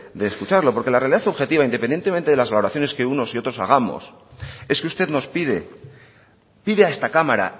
de escucharlo porque la realidad subjetiva independientemente de aclaraciones que unos y otros hagamos es que usted nos pide pide a esta cámara